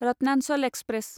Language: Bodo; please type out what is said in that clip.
रत्नाचल एक्सप्रेस